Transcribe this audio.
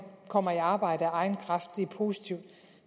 kommer i arbejde af egen kraft og det er positivt